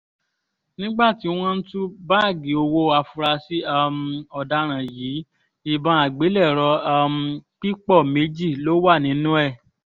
nígbà tí wọ́n tú báàgì owó àfúráṣí um ọ̀daràn yìí ìbọn àgbélẹ̀rọ̀ um pípọ̀ méjì ló wà nínú ẹ̀